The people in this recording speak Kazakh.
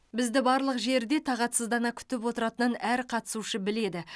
бізді барлық жерде тағатсыздана күтіп отыратынын әр қатысушы біледі